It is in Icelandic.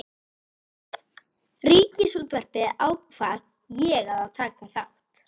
Ríkisútvarpinu ákvað ég að taka þátt.